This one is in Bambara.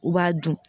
U b'a dun